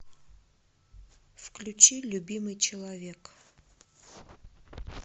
включи любимый человек